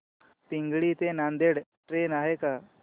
पिंगळी ते नांदेड ट्रेन आहे का